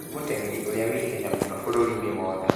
Nĩ mũteng'eri ũrĩa wĩ ihenya mũno bũrũri-inĩ wothe